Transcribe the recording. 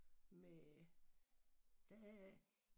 Med der er